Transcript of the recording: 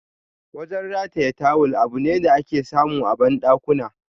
Wajen rataye tawul, abune da ake samu a bandakuna.